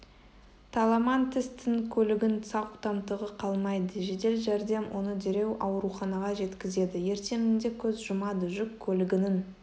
таламантестің көлігінің сау тамтығы қалмайды жедел жәрдем оны дереу ауруханаға жеткізеді ертеңінде көз жұмады жүк көлігінің